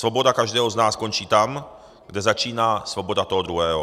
Svoboda každého z nás končí tam, kde začíná svoboda toho druhého.